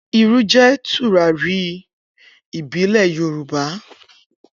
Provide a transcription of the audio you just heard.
Iru jẹ turari ìbílẹ̀ Yorùbá